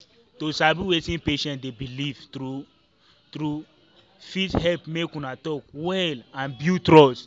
to sabi wetin patient dey believe true-true fit help make una talk well and build trust.